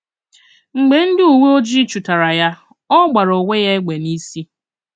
M̀gbè ndị uwe ojii chụ̀tára ya, ọ gbàrà onwé ya égbè n'ìsi